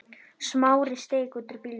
Smári steig út úr bílnum.